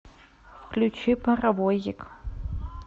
включи паровозик